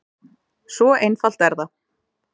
Svo einfalt er það.